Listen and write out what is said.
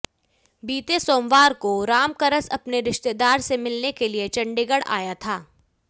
बीते सोमवार को रामकरस अपने रिश्तेदार से मिलने के लिए चंडीगढ़ आया था